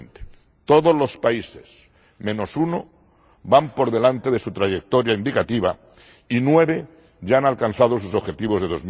2020. Todos los países menos uno van por delante de su trayectoria indicativa y nueve ya han alcanzado sus objetivos de